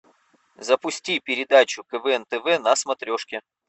запусти передачу квн тв на смотрешке